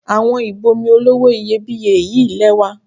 Àwo ìb'omi olówó iyebíye yí lẹ́wà.